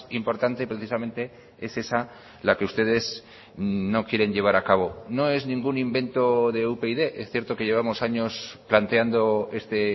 importante precisamente es esa la que ustedes no quieren llevar a cabo no es ningún invento de upyd es cierto que llevamos años planteando este